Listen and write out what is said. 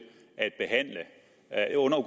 at